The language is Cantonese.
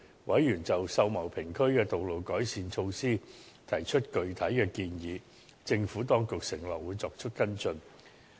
委員就秀茂坪區的道路改善措施提出具體建議，政府當局承諾會作出跟進。